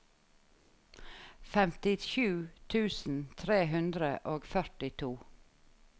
femtisju tusen tre hundre og førtito